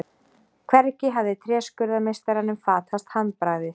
Hvergi hafði tréskurðarmeistaranum fatast handbragðið.